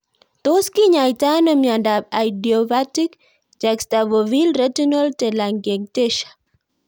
Tos kinyoitoi ano miondop idiopathic juxtafoveal retinal telangiectasia?